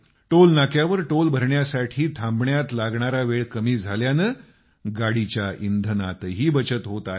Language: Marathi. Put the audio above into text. टोल नाक्यावर टोल भरण्यासाठी थांबण्यात लागणारा वेळ कमी झाल्यानं गाडीच्या इंधनातही बचत होत आहे